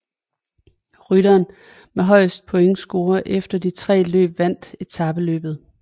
Rytteren med højeste pointscore efter de tre løb vandt etapeløbet